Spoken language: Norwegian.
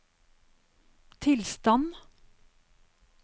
tilstand